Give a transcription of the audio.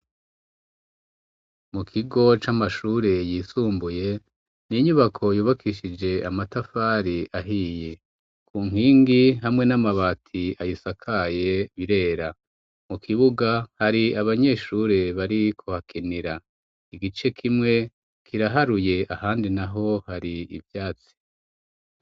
Mu kigo c'amashure yisumbuye, n'inyubako yubakishije amatafari ahiye, ku nkingi hamwe n'amabati ayisakaye birera, mu kibuga hari abanyeshure bari kuhakinira, igice kimwe kiraharuye ahandi naho hari ivyatsi.